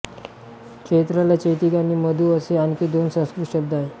चैत्राला चैत्रिक आणि मधू असे आणखी दोन संस्कृत शब्द आहेत